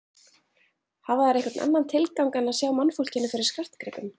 Hafa þær einhvern annan tilgang en að sjá mannfólkinu fyrir skartgripum?